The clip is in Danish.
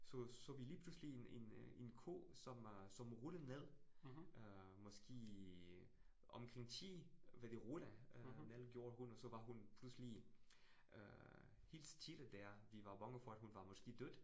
Så så vi lige pludselig en en øh en ko, som øh som rullede ned øh måske omkring 10, hvad det rul gjorde hun, og så var hun pludselig øh helt stille der. Vi var bange for, at hun var måske død